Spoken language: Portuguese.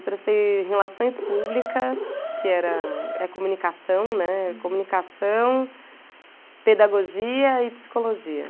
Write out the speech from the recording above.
Eu prestei relações públicas, que era, é comunicação, né, comunicação, pedagogia e psicologia.